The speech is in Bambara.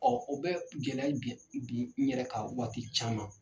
Ɔ u bɛ gɛlɛya bin n yɛrɛ kan waati caman .